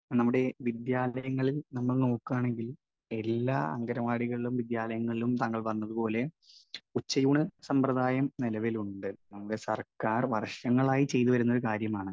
Speaker 1 നമ്മുടെ ഈ വിദ്യാലയങ്ങളിൽ നമ്മൾ നോക്കുകയാണെങ്കിൽ എല്ലാ അങ്കണവാടികളിലും വിദ്യാലയങ്ങളിലും താങ്കൾ പറഞ്ഞതുപോലെ ഉച്ചയൂണ് സമ്പ്രദായം നിലവിലുണ്ട്. അത് സർക്കാർ വർഷങ്ങളായി ചെയ്തുവരുന്ന ഒരു കാര്യമാണ്.